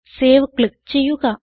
save click ചെയ്യുക